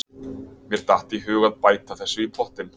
Mér datt í hug að bæta þessu í pottinn.